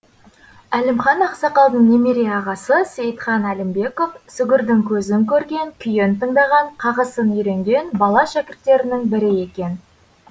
әлімхан ақсақалдың немере ағасы сейітхан әлімбеков сүгірдің көзін көрген күйін тыңдаған қағысын үйренген бала шәкірттерінің бірі екен